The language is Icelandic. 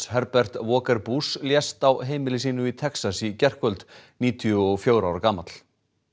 Herbert Walker Bush lést á heimili sínu í Texas í gærkvöld níutíu og fjögurra ára gamall